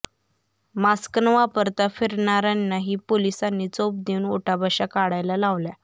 mask न वापरता फिरणाऱ्यांना ही पोलिसांनी चोप देऊन उठाबशा काढायला लावल्या